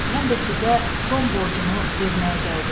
Mən də sizə son borcumu verməyə gəldim.